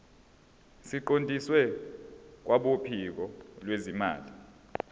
siqondiswe kwabophiko lwezimali